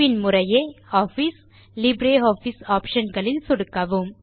பின் முறையே office LibreOffice office களில் சொடுக்கவும்